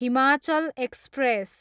Himachal express